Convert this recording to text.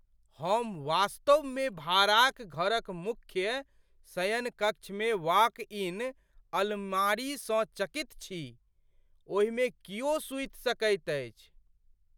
हम वास्तवमे भाड़ाक घरक मुख्य शयनकक्षमे वॉक इन अलमारीसँ चकित छी, ओहिमे कियो सुति सकैत अछि।